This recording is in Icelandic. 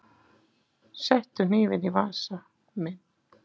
Settu hnífinn í vasa minn.